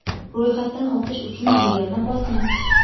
Ro‘yxatdan o‘tish uchun bu yerni bosing.